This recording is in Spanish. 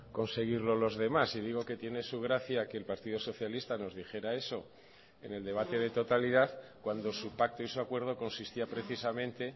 conseguirlo los demás y digo que tiene su gracia que el partido socialista nos dijera eso en el debate de totalidad cuando su pacto y su acuerdo consistía precisamente